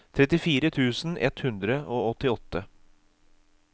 trettifire tusen ett hundre og åttiåtte